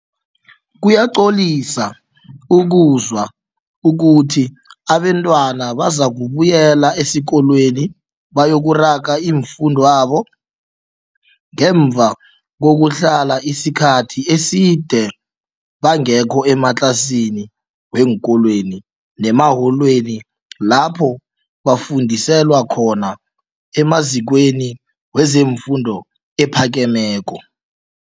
Kuyacolisa ukuzwa ukuthi abentwana bazakubuyela esikolweni bayokuraga ifundwabo ngemva kokuhlala isikhathi eside bangekho ematlasini weenkolweni nemaholweni lapho bafundiselwa khona emazikweni wezefundo ephakemeko.